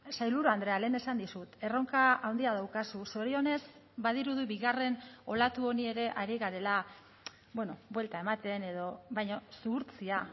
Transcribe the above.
sailburu andrea lehen esan dizut erronka handia daukazu zorionez badirudi bigarren olatu honi ere ari garela buelta ematen edo baina zuhurtzia